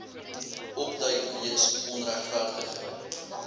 opduik weens onregverdige